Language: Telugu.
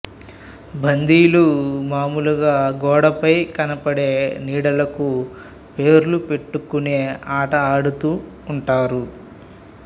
బందీలు మామూలుగా గోడ పై కనపడే నీడలకు పేర్లు పెట్టుకునే ఆట ఆడుతూ ఉంటారు